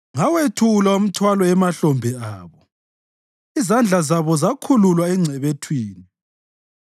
“Ngawethula umthwalo emahlombe abo; izandla zabo zakhululwa engcebethwini.